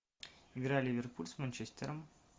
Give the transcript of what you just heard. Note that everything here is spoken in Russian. игра ливерпуль с манчестером